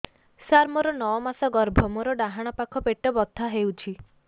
ସାର ମୋର ନଅ ମାସ ଗର୍ଭ ମୋର ଡାହାଣ ପାଖ ପେଟ ବଥା ହେଉଛି